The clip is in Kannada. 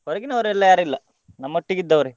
ಹೊರಗಿನವರೆಲ್ಲಾ ಯಾರಿಲ್ಲ ನಮ್ಮೊಟ್ಟಿಗಿದ್ದವರೇ.